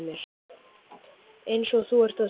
Eins og þú ert að segja.